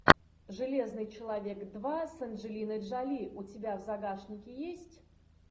железный человек два с анджелиной джоли у тебя в загашнике есть